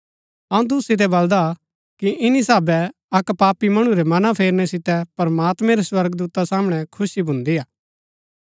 अऊँ तुसु सितै बलदा कि ईनी साहभै अक्क पापी मणु रै मना फेरनै सितै प्रमात्मैं रै स्वर्गदूता सामणै खुशी भुन्दी हा